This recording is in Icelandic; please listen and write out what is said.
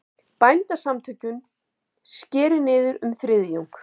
Bændasamtökin skeri niður um þriðjung